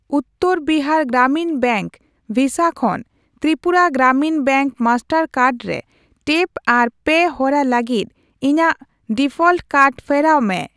ᱩᱛᱛᱟᱹᱨ Bihar Gramin bank ᱵᱷᱤᱥᱟ ᱠᱷᱚᱱ Tripura Gramin bank master card ᱨᱮ ᱴᱮᱯ ᱟᱨ ᱯᱮ ᱦᱚᱨᱟ ᱞᱟᱹᱜᱤᱫ ᱤᱧᱟ.ᱜ ᱰᱤᱯᱷᱚᱞᱴ ᱠᱟᱨᱰ ᱯᱷᱮᱨᱟᱣ ᱢᱮ ᱾